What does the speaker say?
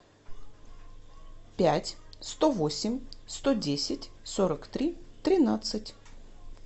пять сто восемь сто десять сорок три тринадцать